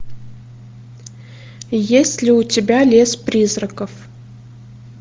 есть ли у тебя лес призраков